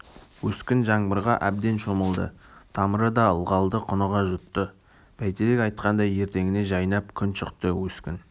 өскін жаңбырға әбден шомылды тамыры да ылғалды құныға жұтты бәйтерек айтқандай ертеңіне жайнап күн шықты өскін